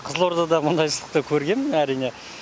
қызылордада мұндай ыстықты көргенмін әрине